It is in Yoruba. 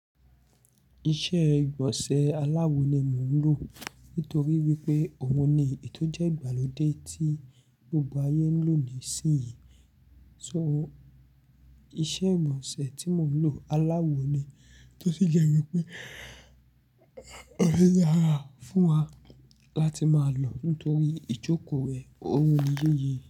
Iṣẹ́ ìgbọ̀nsẹ̀ aláwo ni mò ń lò. Nítorí wípé òun ni ètò jẹ́ ìgbàlódé tí gbogbo ayé ń lò nísìnyí. Nitori naa, iṣẹ́ ìgbọ̀nsẹ̀ tí mò ń lò aláwo ni. Tó sì jẹ́ wípé ó dára fún wa láti máa lò nítorí ìjókòó rẹ̀. Òun ni yéyé.